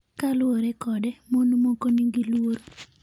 Kaluwore kode, mon moko nigi luoro.